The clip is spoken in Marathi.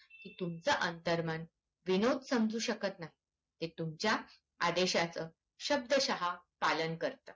तुमचं अंतर्मन विनोद समजू शकत नाही ते तुमच्या आदेशयाचा श्यब्दसहा पालन करते